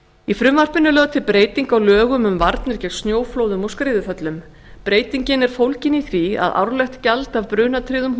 í frumvarpinu er lögð til breyting á lögum um varnir gegn snjóflóðum og skriðuföllum breytingin er fólgin í því að árlegt gjald af brunatryggðum